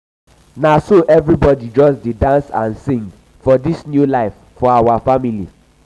na so everybodi just dey dance and sing for dis new life for we family.